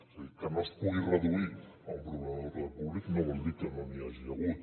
és a dir que no es pugui reduir a un problema d’ordre públic no vol dir que no n’hi hagi hagut